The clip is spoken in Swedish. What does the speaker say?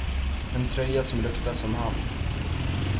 En tröja som luktar som han.